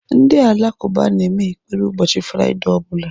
Ndị Alakụba na-eme ekpere ụbọchị fraidee ọbụla.